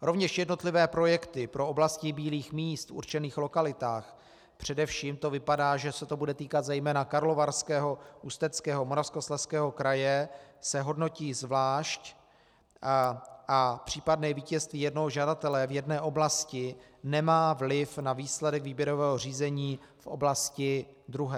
Rovněž jednotlivé projekty pro oblasti bílých míst v určených lokalitách, především to vypadá, že se to bude týkat zejména Karlovarského, Ústeckého, Moravskoslezského kraje, se hodnotí zvlášť a případné vítězství jednoho žadatele v jedné oblasti nemá vliv na výsledek výběrového řízení v oblasti druhé.